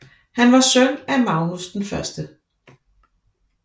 Han var søn af Magnus 1